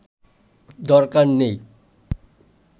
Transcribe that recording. দরকার নেই